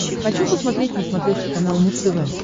хочу посмотреть на смотрешке канал муз тв